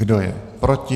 Kdo je proti?